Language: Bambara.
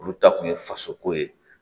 Olu ta kun ye faso ko ye